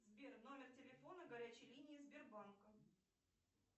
сбер номер телефона горячей линии сбербанка